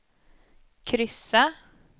kryssa